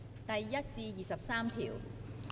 第1至23條。